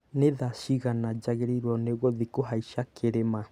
Nĩ thaa ciigana njagĩrĩirwo nĩ gũthiĩ kũhaica kĩrĩma